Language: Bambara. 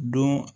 Don